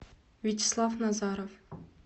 вячеслав назаров